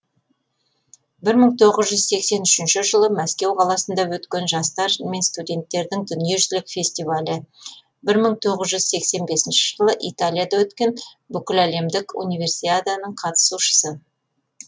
бір мың тоғыз жүз сексен үшінші жылы мәскеу қаласында өткен жастар мен студенттердің дүниежүзілік фестивалі бір мың тоғыз жүз сексен бесінші жылы италияда өткен бүкіләлемдік универсиаданың қатысушысы